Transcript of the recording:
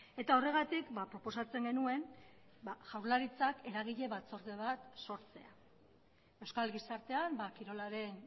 eta horregatik proposatzen genuen jaurlaritzak eragile batzorde bat sortzea euskal gizartean kirolaren